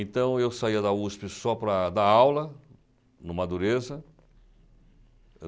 Então, eu saía da USP só para dar aula no Madureza.